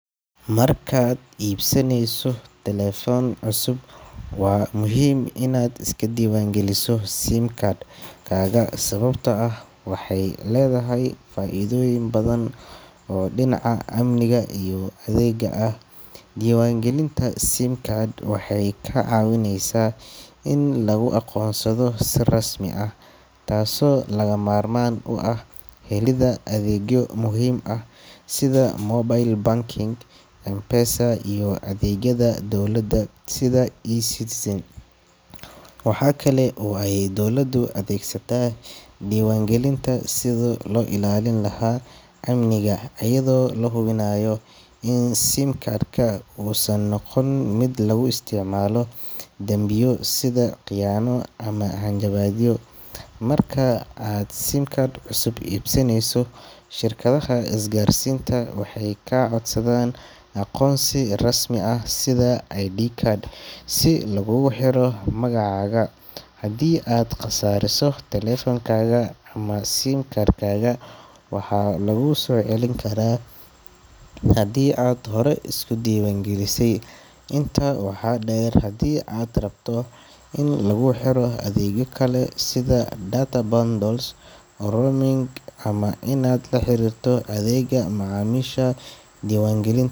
Marka aad iibsanayso taleefan cusub, waa muhiim inaad iska diiwaangeliso SIM card-kaaga sababtoo ah waxay leedahay faa’iidooyin badan oo dhinaca amniga iyo adeegga ah. Diiwaangelinta SIM card waxay kaa caawineysaa in laguu aqoonsado si rasmi ah, taasoo lagama maarmaan u ah helidda adeegyo muhiim ah sida mobile banking, M-Pesa, iyo adeegyada dowladda sida eCitizen. Waxaa kale oo ay dowladda u adeegsataa diiwaangelintan sidii loo ilaalin lahaa amniga, iyadoo la hubinayo in SIM card-ka uusan noqon mid lagu isticmaalo dambiyo sida khiyaano ama hanjabaadyo. Marka aad SIM cusub iibsanayso, shirkadaha isgaarsiinta waxay kaa codsadaan aqoonsi rasmi ah sida ID card si lagugu xiro magacaaga. Haddii aad khasaariso taleefankaaga ama SIM card-kaaga, waxaa laguu soo celin karaa haddii aad horey isu diiwaangelisay. Intaa waxaa dheer, haddii aad rabto in laguu xiro adeegyo kale sida data bundles, roaming, ama inaad la xiriirto adeegga macaamiisha, diiwaangelin.